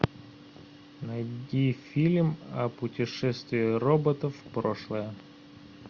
найди фильм о путешествии роботов в прошлое